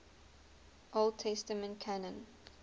old testament canon